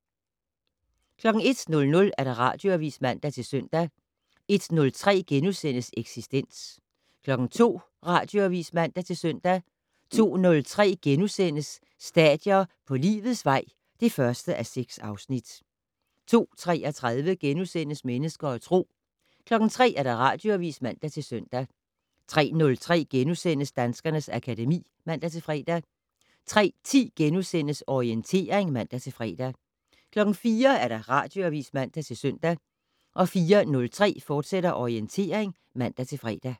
01:00: Radioavis (man-søn) 01:03: Eksistens * 02:00: Radioavis (man-søn) 02:03: Stadier på livets vej (1:6)* 02:33: Mennesker og Tro * 03:00: Radioavis (man-søn) 03:03: Danskernes akademi *(man-fre) 03:10: Orientering *(man-fre) 04:00: Radioavis (man-søn) 04:03: Orientering, fortsat (man-fre)